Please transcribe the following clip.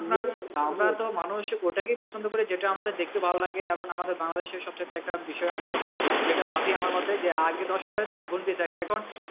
আপনার আহ আমরা তো মানুষ ওটাকেই পছন্দ করি যেটা আমাদের দেখতে ভালো লাগে কারণ আমাদের বাংলাদেশর সব চাইতে একটা বিষয় আমরা সবসময় যেইটা ভাবি আমার মতে যে আগে তারপর এখন